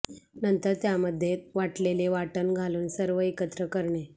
नंतर त्यामध्ये वाटलेलं वाटण घालून सर्व एकत्र करणे